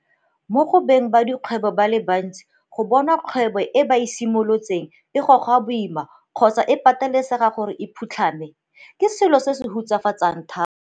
Mo go beng ba dikgwebo ba le bantsi go bona kgwebo e ba e simolotseng e goga boima kgotsa e patelesegang gore e phutlhame, ke selo se se hutsafatsang thata.